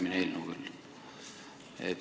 See on küll järgmine eelnõu.